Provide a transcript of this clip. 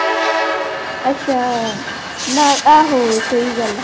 ਅੱਛਾ, ਨਾਲ ਆਹੋ ਸਹੀ ਗੱਲ ਆ।